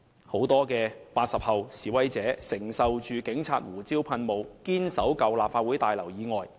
很多 "80 後"示威者面對着警察的胡椒噴霧，仍堅守在舊立法會大樓外。